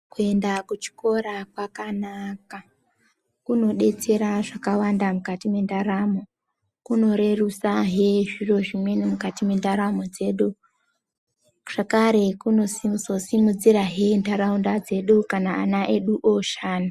Kuenda kuchikora kwakanaka kunobetsera zvakawanda mukati mendaramo ,kunorerutsahe zviro zvimweni mukati mendaramo dzedu. Zvakare kunozosimudzirahe nharaunda dzedu kana ana edu oshanda.